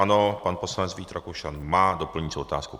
Ano, pan poslanec Vít Rakušan má doplňující otázku.